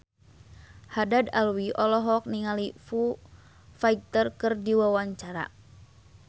Haddad Alwi olohok ningali Foo Fighter keur diwawancara